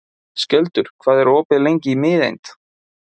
Skjöldur, hvað er opið lengi í Miðeind?